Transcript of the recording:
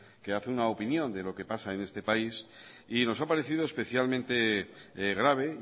que hace una opinión de lo que pasa en este país y nos ha parecido especialmente grave